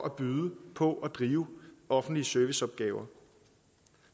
at byde på og drive offentlige serviceopgaver